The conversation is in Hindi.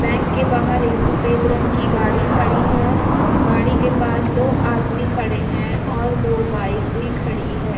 बैंक के बाहर एक सफेद रंग की गाड़ी खड़ी है गाड़ी के पास दो आदमी खड़े हैं और दो बाइक भी खड़ी हैं।